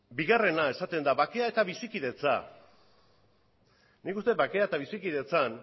bigarrenean esaten da bakea eta bizikidetza nik uste dut bakea eta bizikidetzan